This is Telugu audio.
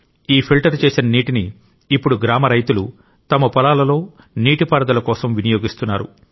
ఈ ఫిల్టర్ చేసిన నీటిని ఇప్పుడు గ్రామ రైతులు తమ పొలాలలో నీటిపారుదల కొరకు వినియోగిస్తున్నారు